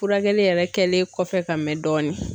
Furakɛli yɛrɛ kɛlen kɔfɛ ka mɛn dɔɔnin.